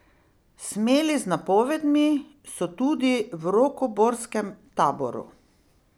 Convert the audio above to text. Smeli z napovedmi so tudi v rokoborskem taboru.